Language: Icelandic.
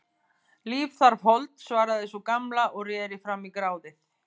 Líf þarf hold, svaraði sú gamla og reri fram í gráðið.